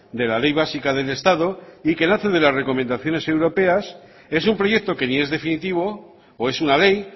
de la ley básica del estado y que nace de las recomendaciones europeas es un proyecto que ni es definitivo o es una ley